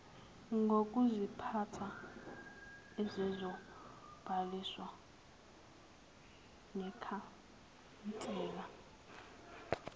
ngokuziphatha ezizobhaliswa nekhansela